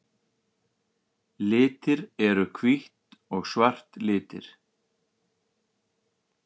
Litir Eru hvítt og svart litir?